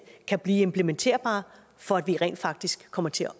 kan blive implementerbart for at vi rent faktisk komme til at